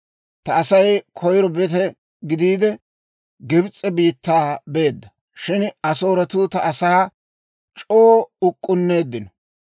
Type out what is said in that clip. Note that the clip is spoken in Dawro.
Ta Asay koyiro bete gidiide, Gibs'e biittaa beedda; shin Asooretuu ta asaa c'oo uk'k'unneeddino.